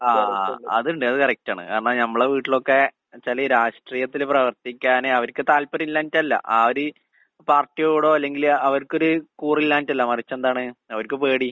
ആഹ് ആഹ്. അതുണ്ട് അത് കറക്റ്റാണ്. കാരണം ഞമ്മളെ വീട്ടിലൊക്കെ എന്ന് വെച്ചാല് രാഷ്ട്രീയത്തില് പ്രവർത്തിക്കാന് അവർക്ക് താല്പര്യമില്ലാഞ്ഞിട്ടല്ല. ആ ഒര് പാർട്ടിയോടോ അല്ലെങ്കില് അവർക്കൊര് കൂറില്ലാഞ്ഞിട്ടല്ല. മറിച്ചെന്താണ് അവർക്ക് പേടി.